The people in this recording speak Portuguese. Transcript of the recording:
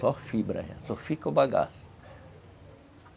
Só fibra, só fica o bagaço.